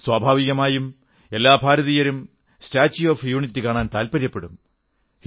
സ്വാഭാവികമായും എല്ലാ ഭാരതീയരും സ്റ്റാച്യൂ ഓഫ് യൂണിറ്റി കാണാൻ താത്പര്യപ്പെടും